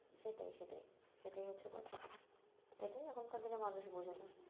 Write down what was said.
সেটাই সেটাই সেটাই হচ্ছে কথা এটাই এখনকার দিনে মানুষ বোঝে না